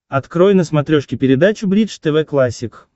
открой на смотрешке передачу бридж тв классик